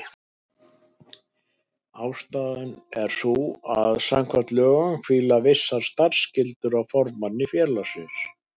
Ástæðan er sú að samkvæmt lögum hvíla vissar starfsskyldur á formanni félagsins.